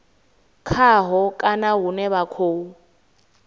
khaho kana hune vha khou